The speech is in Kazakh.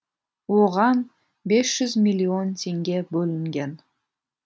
оған бес жүз миллион теңге бөлінген